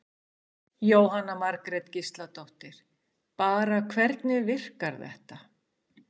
Jóhanna Margrét Gísladóttir: Bara hvernig virkar þetta?